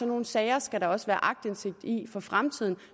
nogle sager skal der også være aktindsigt i for fremtiden